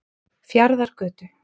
Fjarðargötu